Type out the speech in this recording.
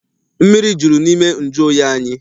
Mmiri juru n'ime nju oyi anyị.